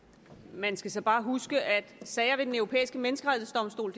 man skal så bare huske at sager ved den europæiske menneskerettighedsdomstol